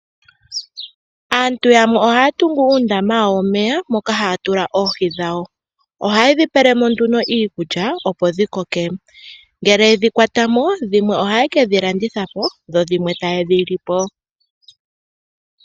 Aantu yamwe ohaya tungu uundama wawo womeya moka haya tula oohi dhawo. Oha yedhi pelemo nduno iikulya opo dhi koke, ngele yedhi kwatamo, dhimwe oha ye kedhi landithapo dho dhimwe ta yedhi lipo.